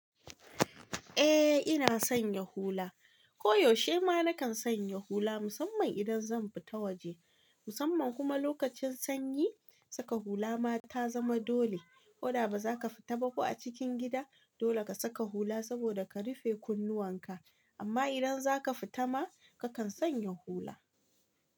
Eh ina sanya hula, koyaushe ma na kan sanya hula musamman idan zan fita waje. Musamman kuma lokacin sanyi saka hula ma ta zama dole. Koda ba za ka fita ba ko a cikin gida dole ka saka hula saboda ka rufe kunnuwan ka. Amma idan za ka fita ma ka kan sanya hula.